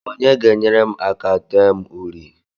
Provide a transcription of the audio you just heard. Onye ga-enyere m aka dee m uri?